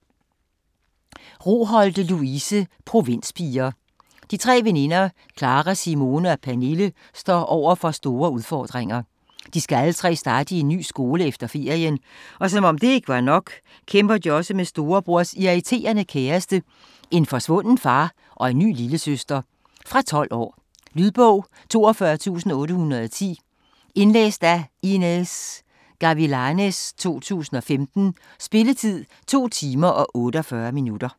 Roholte, Louise: Provinspiger De tre veninder Klara, Simone og Pernille står overfor store udfordringer. De skal alle tre starte i en ny skole efter ferien og som om det ikke var nok kæmper de også med en storebrors irriterende kæreste, en forsvunden far og en ny lillesøster. Fra 12 år. Lydbog 42810 Indlæst af Inez Gavilanes, 2015. Spilletid: 2 timer, 48 minutter.